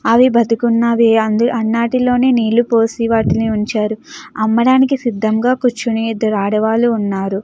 అవి బతుకున్నవి అందు అన్ని ఆటిలోనే నీళ్ళు పోసి ఉంచారు అమ్మడానికి సిధంగ కూర్చుని ఇద్దరు ఆడవాళ్లు వున్నారు.